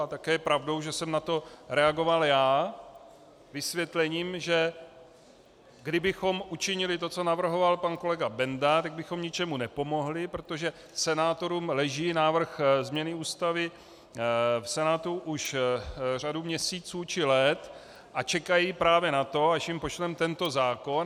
A také je pravdou, že jsem na to reagoval já vysvětlením, že kdybychom učinili to, co navrhoval pan kolega Benda, tak bychom ničemu nepomohli, protože senátorům leží návrh změny Ústavy v Senátu už řadu měsíců či let a čekají právě na to, až jim pošleme tento zákon.